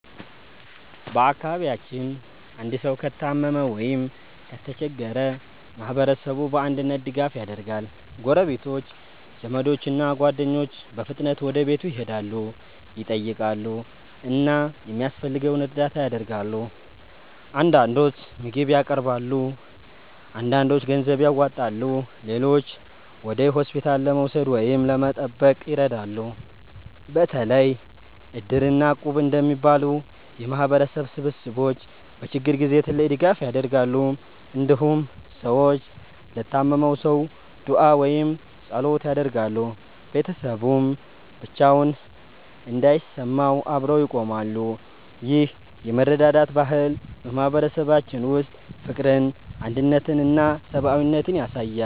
በአካባቢያችን አንድ ሰው ከታመመ ወይም ከተቸገረ ማህበረሰቡ በአንድነት ድጋፍ ያደርጋል። ጎረቤቶች፣ ዘመዶች እና ጓደኞች በፍጥነት ወደ ቤቱ ይሄዳሉ፣ ይጠይቃሉ እና የሚያስፈልገውን እርዳታ ያደርጋሉ። አንዳንዶች ምግብ ያቀርባሉ፣ አንዳንዶች ገንዘብ ያዋጣሉ፣ ሌሎችም ወደ ሆስፒታል ለመውሰድ ወይም ለመጠበቅ ይረዳሉ። በተለይ Iddir እና Equb እንደሚባሉ የማህበረሰብ ስብስቦች በችግር ጊዜ ትልቅ ድጋፍ ያደርጋሉ። እንዲሁም ሰዎች ለታመመው ሰው ዱዓ ወይም ጸሎት ያደርጋሉ፣ ቤተሰቡም ብቻውን እንዳይሰማው አብረው ይቆማሉ። ይህ የመረዳዳት ባህል በማህበረሰባችን ውስጥ ፍቅርን፣ አንድነትን እና ሰብአዊነትን ያሳያል።